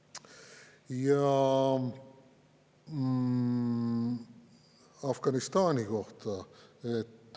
Ja Afganistani kohta.